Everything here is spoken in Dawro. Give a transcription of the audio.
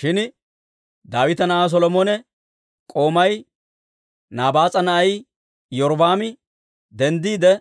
Shin Daawita na'aa Solomone k'oomay, Nabaas'a na'ay Iyorbbaami denddiide,